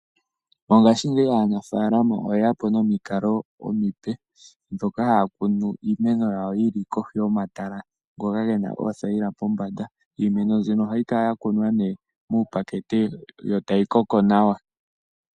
Mongashingeyi aanafalama oyeyapo nomikalo omipe, ndhoka haya kunu iimeno yili kohi yomatala ngoka gena oothayila pombanda. Iimene mbino ohayikala yakunwa nee miipakete, yo tayi koko nawa.